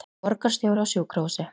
Borgarstjóri á sjúkrahúsi